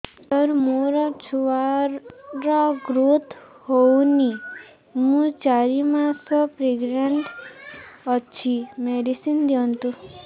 ସାର ମୋର ଛୁଆ ର ଗ୍ରୋଥ ହଉନି ମୁ ଚାରି ମାସ ପ୍ରେଗନାଂଟ ଅଛି ମେଡିସିନ ଦିଅନ୍ତୁ